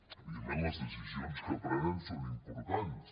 evidentment les decisions que prenen són im·portants